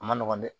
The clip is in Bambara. A ma nɔgɔn dɛ